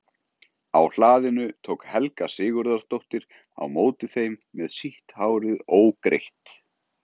Á hlaðinu tók Helga Sigurðardóttir á móti þeim með sítt hárið ógreitt.